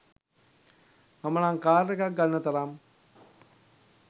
මම නම් කාර් එකක් ගන්න තරම්